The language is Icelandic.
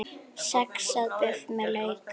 Saxað buff með lauk